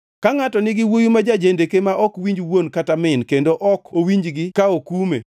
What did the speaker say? Ka ngʼato nigi wuowi ma jendeke ma ok winj wuon kod min kendo ok owinjgi ka okume,